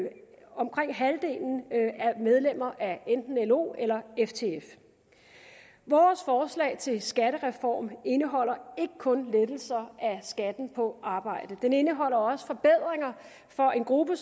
omkring halvdelen er medlemmer af enten lo eller ftf vores forslag til skattereform indeholder ikke kun lettelser af skatten på arbejde den indeholder også forbedringer for en gruppe